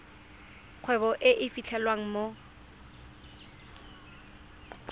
kgwebo e e fitlhelwang mo